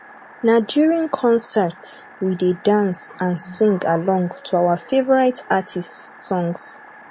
na during concerts we dey dance and sing along to our favorite artists songs